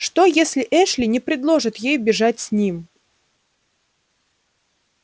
что если эшли не предложит ей бежать с ним